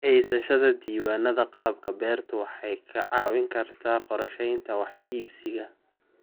Haysashada diiwaannada qalabka beertu waxay kaa caawin kartaa qorsheynta wax iibsiga.